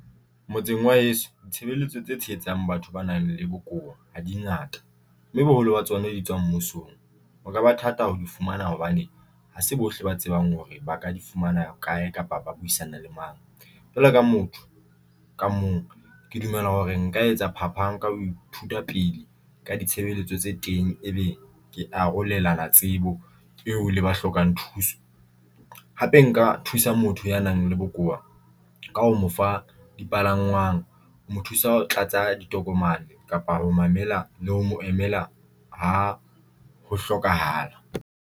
Motseng wa heso ditshebeletso tse tshehetsang batho ba nang le bokowa ha dingata, mme boholo ba tsona di tswang mmusong. O ka ba thata ho di fumana hobane hase bohle ba tsebang hore ba ka di fumana kae kapa ba buisana le mang. Jwalo ka motho ka mong ke dumela hore nka etsa phapang ha nka ho ithuta pele ka ditshebeletso tse teng, ebe ke arolelana tsebo eo le ba hlokang thuso hape nka thusa motho ya nang le bokowa ka ho mo fa dipalangwang mo thusa ho tlatsa ditokomane kapa ho mo emela le ho mo emela ha ho hlokahala.